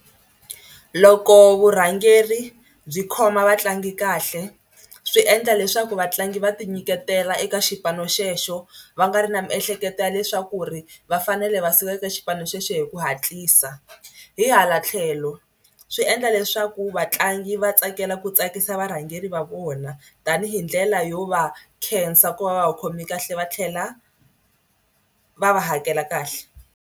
Loko vurhangeri byi khoma vatlangi kahle swi endla leswaku vatlangi va tinyiketela eka xipano xexo va nga ri na miehleketo ya leswaku ri va fanele va suka eka xipano xexo hi ku hatlisa. Hi hala tlhelo swi endla leswaku vatlangi va tsakela ku tsakisa varhangeri va vona tanihi ndlela yo va khensa ku va va va khomi kahle va tlhela va va hakela kahle.